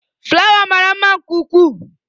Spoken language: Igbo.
Fulawa mara mma nke ukwuu.